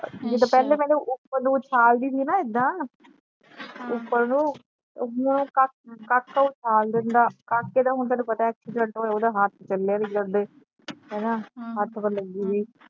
ਜਦੋ ਪਹਿਲੇ ਪਹਿਲੇ ਉਪਰ ਨੂੰ ਉਛਾਲਦੀ ਸੀ ਨਾ ਏਦਾਂ ਉਪਰ ਨੂੰ ਕਾਕਾ ਉਛਾਲ ਦਿੰਦਾ ਕਾਕੇ ਦਾ ਹੁਣ ਤੈਨੂੰ ਪਤਾ ਏ ਚਲੇ ਨਹੀਂ ਜਾਂਦੇ ਹੱਥ ਪਲੇ